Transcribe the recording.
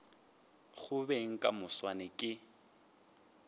go beng ka moswane ke